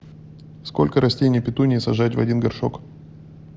сколько растений петунии сажать в один горшок